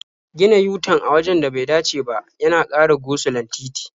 Gina yu-tan a wajen da bai dace ba yana ƙara go-sulon titi.